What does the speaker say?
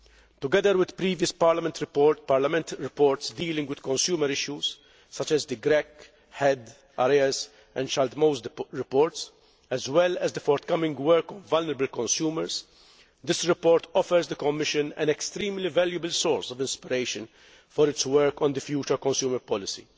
Together with previous Parliament reports dealing with consumer issues such as the Grech, Hedh, Arias and Schaldemose reports, as well as the forthcoming work on vulnerable consumers this report offers the Commission an extremely valuable source of inspiration for its work on the future consumer policy.